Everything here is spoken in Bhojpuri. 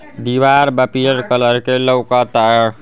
दीवार बा पीयर कलर के लौकता।